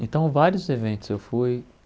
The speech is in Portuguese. Então, vários eventos eu fui.